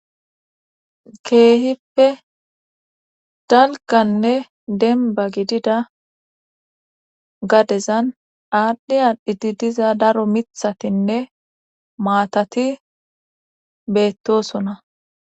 keehippe dalganne denba gidida gadezan aadhdhi aadhdhidi diza daro mithatinne maatati beettosoona